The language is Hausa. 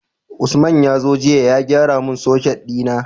Usman yazo jiya ya gyara mun soket dina